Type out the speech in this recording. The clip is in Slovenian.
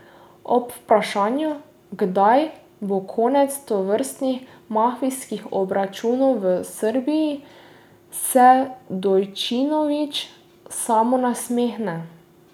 Ob vprašanju, kdaj bo konec tovrstnih mafijskih obračunov v Srbiji, se Dojčinović samo nasmehne.